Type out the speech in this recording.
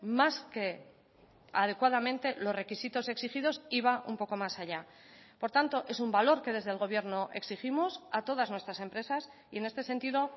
más que adecuadamente los requisitos exigidos y va un poco más allá por tanto es un valor que desde el gobierno exigimos a todas nuestras empresas y en este sentido